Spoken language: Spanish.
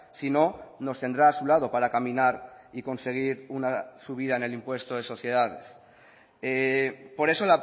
si no nos tendrá a su lado para caminar y conseguir una subida en el impuesto de sociedades por eso